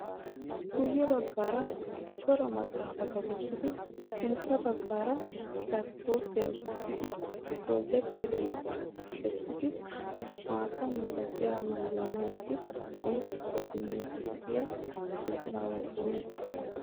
Guyye baggaara cora maxaafata wottidi sintta baggaara laappitooppiya utissidi projekiteriya kaqqidi maata milatiya maayuwa maayidi qonccissuwa immiiddi de'iya izaawu oona geetettii?